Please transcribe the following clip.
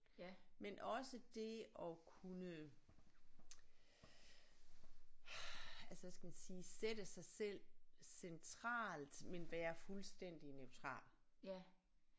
Men også det at kunne altså hvad skal man sige sætte sig selv centralt men være fuldstændig neutral